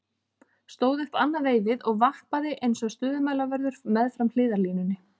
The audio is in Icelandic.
Stóð upp annað veifið og vappaði eins og stöðumælavörður meðfram hliðarlínunni.